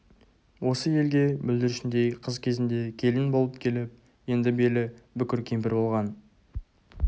осы елге бүлдіршіндей қыз кезінде келін болып келіп енді белі бүкір кемпір болған